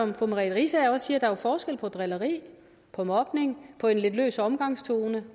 riisager også siger at der er forskel på drilleri på mobning på en lidt løs omgangstone